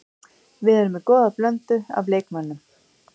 Við erum með góða blöndu af leikmönnum.